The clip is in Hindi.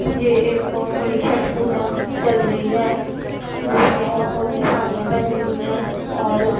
ये एक बार बहोत बड़ी छठ पूजा चल रही है जिसमें औरतों ने साड़ियां पहनी हुई हैं और--